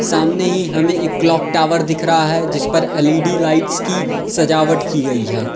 सामने ही हमें एक क्लॉक टावर दिख रहा है जिस पर एल_इ_डी लाइट्स की सजावट की गयी है।